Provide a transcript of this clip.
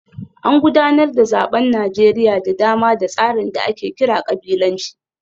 An gudanar da zaben Najeriya da dama da tsarin da ake kira kabilanci